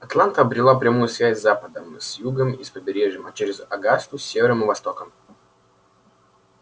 атланта обрела прямую связь с западом с югом и с побережьем а через огасту с севером и востоком